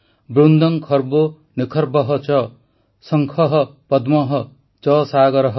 ବୃନ୍ଦଂ ଖର୍ବୋ ନିଖର୍ବଃ ଚ ଶଂଖଃ ପଦ୍ମଃ ଚ ସାଗରଃ